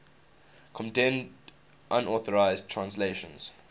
condemned unauthorized translations